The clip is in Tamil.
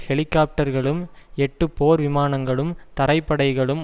ஹெலிகாப்டர்களும் எட்டு போர் விமானங்களும் தரைப்படைகளும்